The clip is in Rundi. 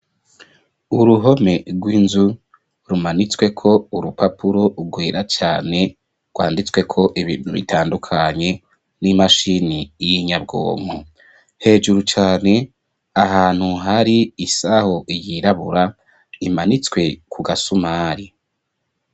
Uruhome rw'inzu rumanitsweko urupapuro rwera cane rwanditsweko ibintu bitandukanye n'imashini y'inyabwomo hejuru cane ahantu hari isaho yirabura imanitswe ku gasumari.